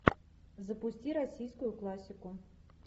запусти российскую классику